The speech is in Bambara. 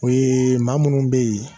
O maa minnu bɛ yen